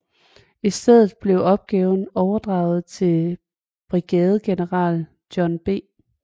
I stedet blev opgaven overdraget til brigadegeneral John B